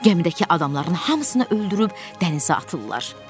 Gəmidəki adamların hamısını öldürüb dənizə atırlar."